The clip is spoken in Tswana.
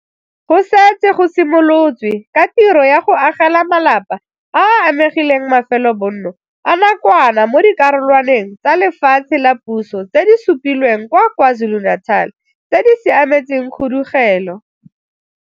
Go setse go simolotswe ka tiro ya go agela malapa a a amegileng mafelobonno a nakwana mo dikarolwaneng tsa lefatshe la puso tse di supilweng kwa KwaZulu-Natal tse di siametseng khudugelo.